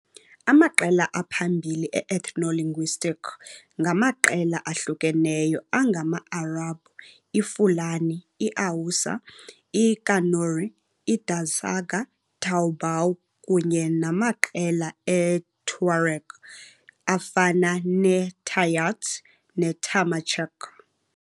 Amaqela aphambili e-ethnolinguistic ngamaqela ahlukeneyo angama-Arabhu, iFulani, iHausa, iKanuri, iDazaga Toubou kunye namaqela eTuareg afana neTayart Tamajeq.